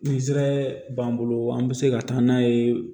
Nizɛri b'an bolo an bɛ se ka taa n'a ye